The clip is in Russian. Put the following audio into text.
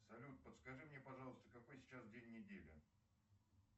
салют подскажи мне пожалуйста какой сейчас день недели